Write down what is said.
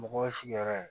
Mɔgɔw ye sigiyɔrɔ ye